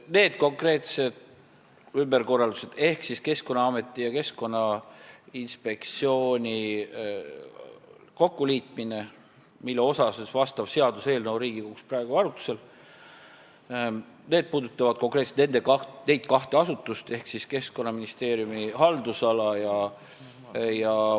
Need konkreetsed ümberkorraldused ehk Keskkonnaameti ja Keskkonnainspektsiooni kokkuliitmine, mille kohta on seaduseelnõu Riigikogus praegu arutlusel, puudutavad konkreetselt neid kahte asutust ehk Keskkonnaministeeriumi haldusala.